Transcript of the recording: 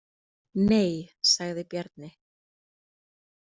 Nei, sagði Bjarni.